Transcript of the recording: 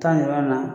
Taa nin yɔrɔ in na